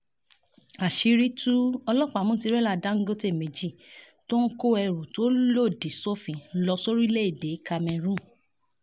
àṣírí tú ọlọ́pàá mú tìrẹ̀là dáńgọ́tẹ̀ méjì tó ń kó ẹrù tó lòdì sófin lọ sórílẹ̀‐èdè cameroon